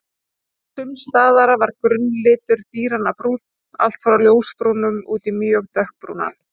Sums staðar var grunnlitur dýranna brúnn, allt frá ljósbrúnum út í mjög dökkbrúnan.